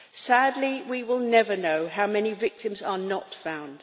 Sadly, we will never know how many victims are not found.